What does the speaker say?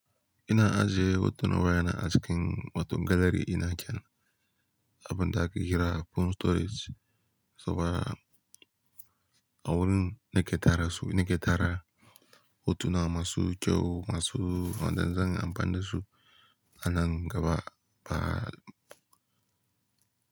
Ina ajiye hotuna wayana a cikin wato gallary dina kenan abin da aka kira phone storage saboda awurin nike tara su nike tara hotuna masu kyau masu zan amfani dasu anan gaba ba.